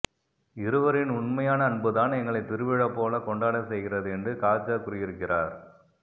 இருவரின் உண்மையான அன்புதான் எங்களை திருவிழா போல கொண்டாட செய்கிறது என்று காஜா கூறியிருக்கிறார்